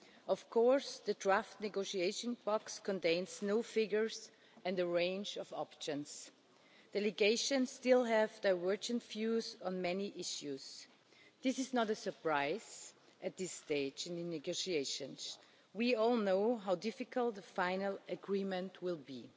Of course, the draft negotiating box contains no figures and a range of options. Delegations still have diverging views on many issues. This is not a surprise at this stage in the negotiations. We all know how difficult the final agreement will